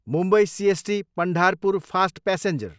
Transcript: Mumbai CST, Pandharpur fast passenger